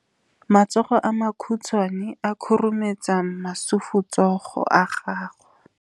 Matsogo a makhutshwane a khurumetsa masufutsogo a gago.